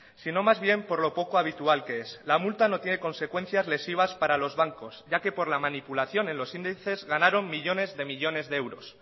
sino más bien por lo poco habitual que es la multa no tiene consecuencias lesivas para los bancos ya que por la manipulación en los índices ganaron millónes de millónes de euros